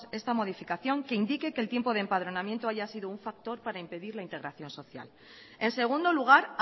esta modificación que indique que el tiempo de empadronamiento haya sido un factor para impedir la integración social en segundo lugar